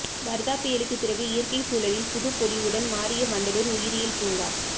வர்தா புயலுக்கு பிறகு இயற்கை சூழலில் புதுப்பொலிவுடன் மாறிய வண்டலூர் உயிரியல் பூங்கா